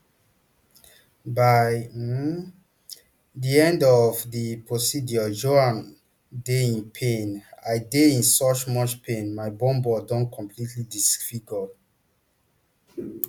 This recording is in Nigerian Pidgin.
by um di end of di procedure joanne dey in pain i dey in so much pain my bum bum don completely disfigured